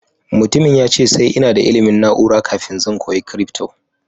mutumin ya ce sai ina da ilimin naura kafin zan koya crypto.